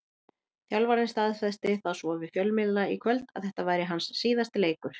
Þjálfarinn staðfesti það svo við fjölmiðla í kvöld að þetta væri hans síðasti leikur.